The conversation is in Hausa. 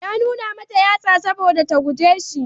Ya nuna mta yatsa saboda ta guje shi.